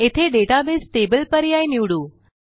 येथे database table पर्याय निवडू